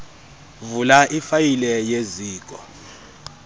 vula ifayile yeziko